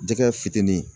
Jɛgɛ fitinin